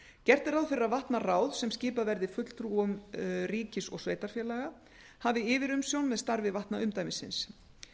gert er ráð fyrir að vatnaráð sem skipað verði fulltrúum ríkis og sveitarfélaga hafi yfirumsjón með starfi vatnaumdæmisins